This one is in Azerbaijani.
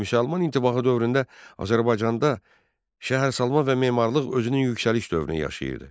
Müsəlman intibahı dövründə Azərbaycanda şəhərsalma və memarlıq özünün yüksəliş dövrünü yaşayırdı.